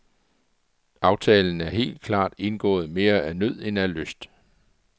Aftalen er helt klart indgået mere af nød end af lyst.